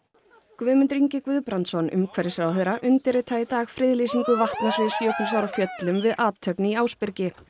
Guðmundur Ingi Guðbrandsson umhverfisráðherra undirritaði í dag friðlýsingu vatnasviðs Jökulsár á Fjöllum við athöfn í Ásbyrgi